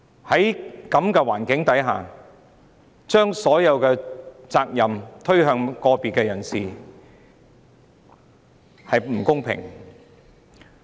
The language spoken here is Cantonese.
在這情況下，將所有責任加諸個別人士身上，並不公平。